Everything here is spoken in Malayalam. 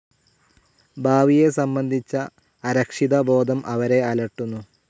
ഭാവിയെ സംബന്ധിച്ച അരക്ഷിതബോധം അവരെ അലട്ടുന്നു.